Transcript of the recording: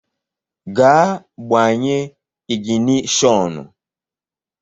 Gaa gbanye ịgịnịshọnụ!